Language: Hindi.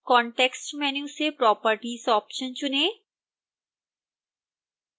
कॉन्टैक्स्ट मैन्यू से properties ऑप्शन चुनें